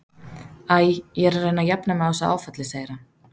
Æ, ég er að reyna að jafna mig á þessu áfalli, segir hann.